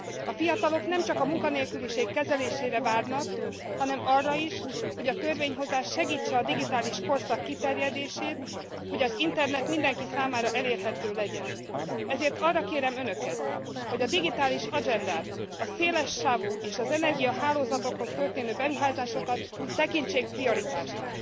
A fiatalok nem csak a munkanélküliség kezelésére várnak, hanem arra is, hogy a törvényhozás segítse a digitális korszak kiterjedését, hogy az internet mindenki számára elérhető legyen, ezért arra kérem Önöket, hogy a digitális agendát, a szélessávú és az energiahálózatokhoz történő beruházásokat tekintsék prioritásoknak.